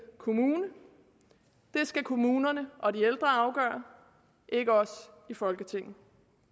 kommune det skal kommunerne og de ældre afgøre ikke os i folketinget